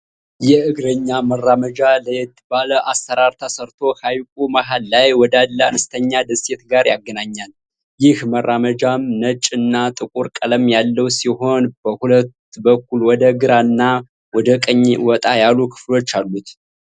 የእግረኛ መራመጃ ለየት ባለ አሰራር ተሰርቶ ሃይቁ መሃል ላይ ወዳለ አነስተኛ ደሴት ጋር ያገናኛል። ይህ መራመጃም ነጭ እና ጥቁር ቀለም ያለው ሲሆን በሁለት በኩል ወደ ግራ እና ወደ ቀኝ ወጣ ያሉ ክፍሎች አሉት።